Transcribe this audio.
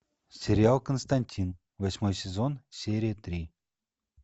сериал константин восьмой сезон серия три